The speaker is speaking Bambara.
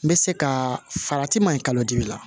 N bɛ se ka farati ma ɲi kalodimi la